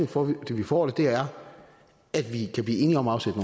for at vi får det er at vi kan blive enige om at afsætte